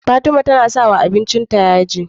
Fatima na sawa abincin ta yaji